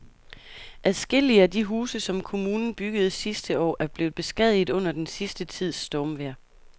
Adskillige af de huse, som kommunen byggede sidste år, er blevet beskadiget under den sidste tids stormvejr.